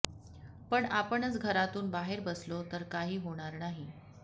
पण आपणच घरातून बाहेर बसलो तर काही होणार नाही